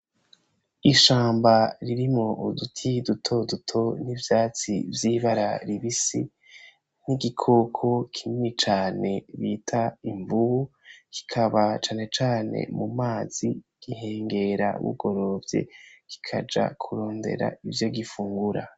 Ishamba ririmwo uduti duto duto n'ivyatsi vy'ibara ribisi n'igikoko kinini cane bita imvubu, kikaba cane cane mu mazi gihengera bugorovye kikaja kurondera ivyo gifungura.